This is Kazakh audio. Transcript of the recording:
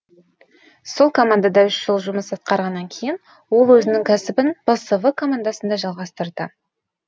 сол командада үш жыл жұмыс атқарғаннан кейін ол өзінің кәсібін псв командасында жалғастырды